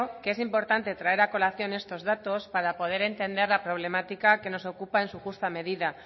que es importante traer a colación estos datos para poder entender la problemática que nos ocupa en su justa medida